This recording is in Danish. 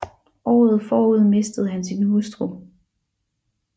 Året forud mistede han sin hustru